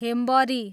हेम्बरी